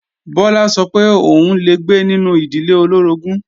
Bọlá sọ pé òun ò lè gbé nínú ìdílé olóorogún